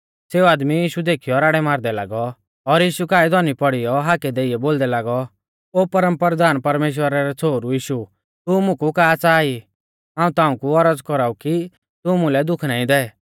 सेऊ आदमी यीशु देखीयौ राड़ै मारदै लागौ और यीशु काऐ धौनी पौड़ीयौ हाकै देइयौ बोलदै लागौ ओ परमपरधान परमेश्‍वरा रै छ़ोहरु यीशु तू मुकु का च़ाहा ई हाऊं ताऊं कु औरज़ कौराऊ कि तू मुलै दुःख नाईं दै